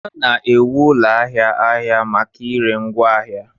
A na-ewu ụlọ ahịa ahịa maka ire ngwaahịa